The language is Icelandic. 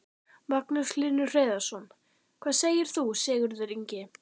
Magnús Hlynur Hreiðarsson: Hvað segir þú Sigurður Ingi?